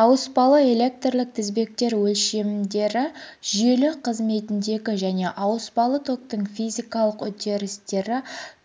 ауыспалы электрлік тізбектер өлшемдері жүйелі қызметіндегі мен ауыспалы токтың физикалық үрдістері